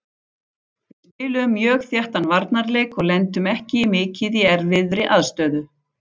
Við spiluðum mjög þéttan varnarleik og lentum ekki mikið í erfiðri aðstöðu.